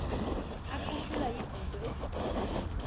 aqutshulwa yizenzo ezichaziwe